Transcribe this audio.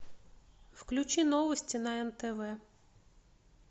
включи новости на нтв